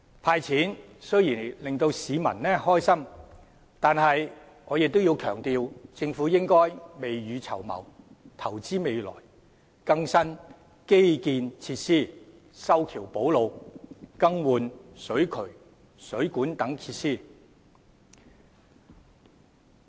"派錢"雖然令市民高興，但我亦要強調，政府應未雨綢繆，投資未來，更新基建設施，修橋補路，更換水渠、水管等設施。